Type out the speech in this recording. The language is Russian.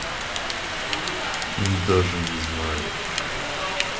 даже не знаю